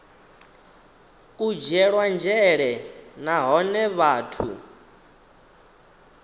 u dzhielwa nzhele nahone vhathu